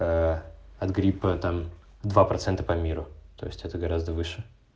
от гриппа там два процента по миру то есть это гораздо выше